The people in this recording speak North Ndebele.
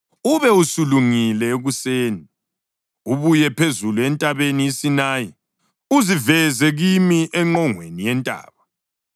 Ube usulungile ekuseni, ubuye phezulu entabeni iSinayi, uziveze kimi engqongweni yentaba.